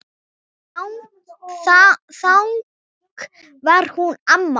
Þannig var hún amma okkur.